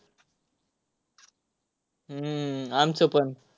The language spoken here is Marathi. हम्म आमचंपण.